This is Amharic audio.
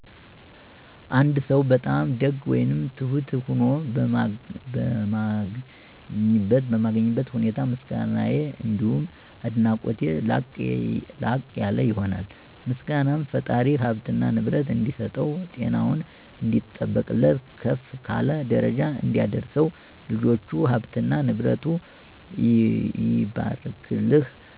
አንድ ሰው በጣም ደግ ወይም ትሁት ሆኖ በማገኝበት ሁኔታ ምስጋናየ አንዲሁም አድናቆቴ ላቅ ያለ ይሆናል። ምስጋናየም ፈጣሪ ሀብትና ንብረት እንዲሰጠው፣ ጤናውን እንዲጠብቅለት፣ ከፍ ካለ ደረጃ እንዲያደርሰው፣ ልጆቹ፥ ሀብትና ንብረቱ ይባርክልህ፣